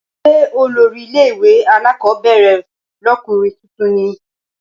Ṣé olórí ilé ìwé alákọ̀ọ́bẹ̀rẹ̀ lọ́kùnrin tuntun ní?